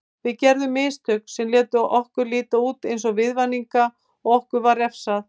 Við gerðum mistök sem létu okkur líta út eins og viðvaninga og okkur var refsað.